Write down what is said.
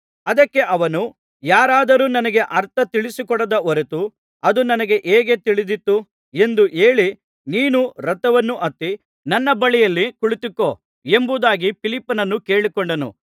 ಅದಕ್ಕೆ ಅವನು ಯಾರಾದರೂ ನನಗೆ ಅರ್ಥ ತಿಳಿಸಿಕೊಡದ ಹೊರತು ಅದು ನನಗೆ ಹೇಗೆ ತಿಳಿದೀತು ಎಂದು ಹೇಳಿ ನೀನು ರಥವನ್ನು ಹತ್ತಿ ನನ್ನ ಬಳಿಯಲ್ಲಿ ಕುಳಿತುಕೋ ಎಂಬುದಾಗಿ ಫಿಲಿಪ್ಪನನ್ನು ಕೇಳಿಕೊಂಡನು